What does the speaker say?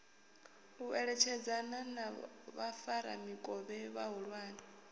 u eletshedzana na vhafaramikovhe vhahulwane